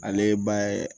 Ale ba ye